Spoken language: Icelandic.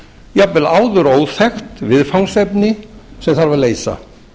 jafnvel áður óþekkt viðfangsefni sem þarf að leysa